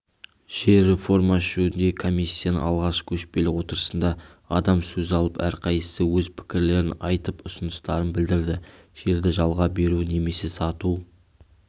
жер реформасы жөніндегі комиссияның алғашқы көшпелі отырысында адам сөз алып әрқайсысы өз пікірлерін айтып ұсыныстарын білдірді жерді жалға беру немесе сату